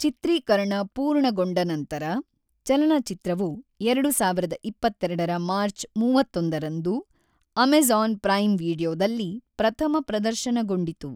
ಚಿತ್ರೀಕರಣ ಪೂರ್ಣಗೊಂಡ ನಂತರ, ಚಲನಚಿತ್ರವು ಎರಡು ಸಾವಿರದ ಇಪ್ಪತ್ತೆರಡರ ಮಾರ್ಚ್ ಮೂವತ್ತೊಂದರಂದು ಅಮೆಜಾನ್ ಪ್ರೈಮ್ ವೀಡಿಯೊದಲ್ಲಿ ಪ್ರಥಮ ಪ್ರದರ್ಶನಗೊಂಡಿತು.